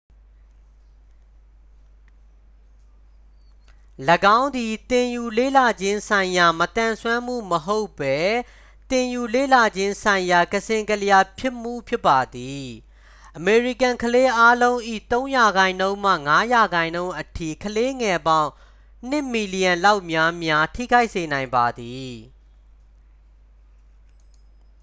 "၎င်းသည် သင်ယူလေ့လာခြင်းဆိုင်ရာ မသန်စွမ်းမှုမဟုတ်ဘဲ သင်ယူလေ့လာခြင်းဆိုင်ရာ ကစဉ့်ကလျားဖြစ်မှု ဖြစ်ပါသည်။ "အမေရိကန် ကလေးအားလုံး၏ ၃ ရာခိုင်နှုန်းမှ ၅ ရာခိုင်နှုန်းအထိ၊ ကလေးငယ်ပေါင်း ၂ မီလျံ လောက်များများ ထိခိုက်စေနိုင်ပါသည်""။